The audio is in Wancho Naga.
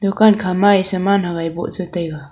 dukan khama e saman awai boh chetaiga.